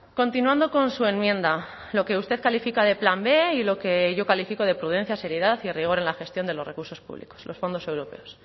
continuando con su enmienda lo que usted califica de plan b y lo que yo califico de prudencia seriedad y rigor en la gestión de los recursos públicos los fondos europeos